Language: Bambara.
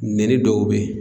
Nɛni dɔw bɛ ye